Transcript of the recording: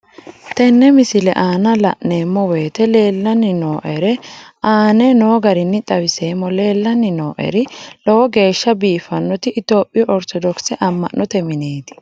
Tenne misile aana laeemmo woyte leelanni noo'ere aane noo garinni xawiseemmo. Leelanni noo'erri lowo geeshsha biifannoti Ethiophiyu orto dox a'mannote mineeti.